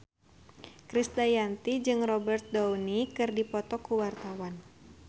Krisdayanti jeung Robert Downey keur dipoto ku wartawan